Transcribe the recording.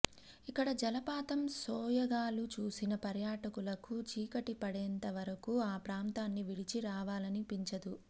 ఇక్కడ జలపాతం సోయగాలు చూసిన పర్యాటకులకు చీకటి పడేంత వరకూ ఆ ప్రాంతాన్ని విడిచి రావాలనిపించదు